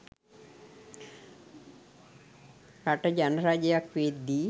රට ජනරජයක් වෙද්දි